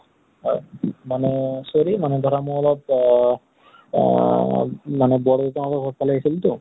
হয়। মানে sorry মানে ধৰা মই অলপ অহ আহ মানে বৰ দেউতা হঁতৰ ঘৰ ফালে আহিছিলো তো